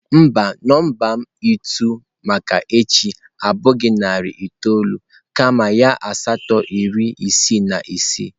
Mba, nọmba ịtụ m maka echi abụghị narị itoolu kama ya asatọ iri isii na isii